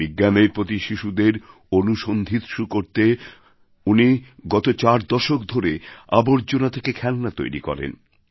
বিজ্ঞানের প্রতি শিশুদের অনুসন্ধিৎসু করতে উনি গত চার দশক ধরে আবর্জনা থেকে খেলনা তৈরি করেন